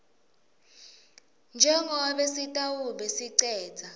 njengobe sitawube sicedza